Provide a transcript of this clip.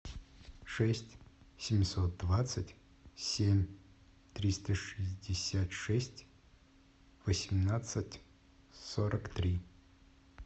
шесть семьсот двадцать семь триста шестьдесят шесть восемнадцать сорок три